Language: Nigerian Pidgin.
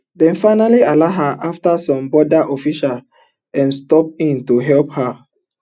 dem finally allow her afta some border official um step in to help her